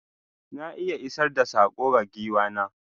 Na iya isar da sako ga giwa na.